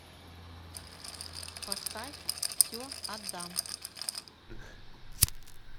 поставь все отдам